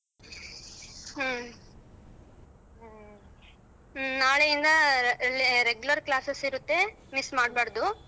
ಹ್ಮ ನಾಳೆಯಿಂದ regular classes ಇರುತ್ತೆ miss ಮಾಡ್ಬಾರ್ದು.